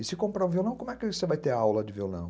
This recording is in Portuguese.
E se comprar um violão, como é que você vai ter aula de violão?